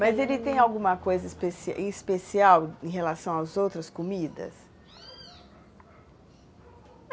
Mas ele tem alguma coisa especial especial em relação às outras comidas?